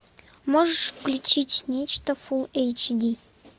можешь включить нечто фулл эйч ди